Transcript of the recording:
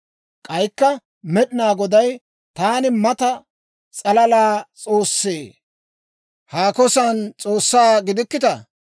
K'aykka Med'inaa Goday, «Taani mata s'alala S'oossee? Haako san S'oossaa gidikkitaa?